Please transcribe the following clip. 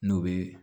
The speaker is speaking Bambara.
N'o bɛ